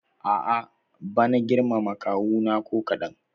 A'a bana girmama kawuna ko kaɗan.